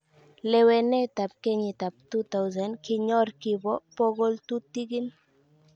Lewenetab kenyitab 2000,kinyoor kibo bogoltutikin.